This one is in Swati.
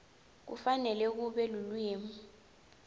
kufanele kube lulwimi